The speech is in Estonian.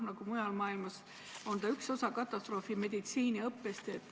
Ka mujal maailmas on see üks osa katastroofimeditsiini õppest.